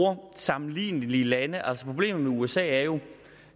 om sammenlignelige lande altså problemet med usa er jo